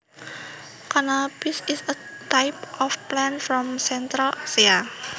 Cannabis is a type of plant from Central Asia